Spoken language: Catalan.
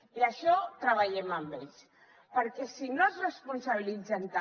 i això treballem ho amb ells perquè si no se’n responsabilitzen també